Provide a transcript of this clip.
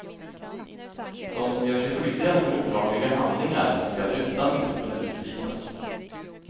De som gör sig skyldiga till olagliga handlingar skall utan misskund utvisas.